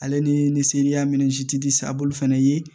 Ale ni ni seli minzi sa bulu fɛnɛ ye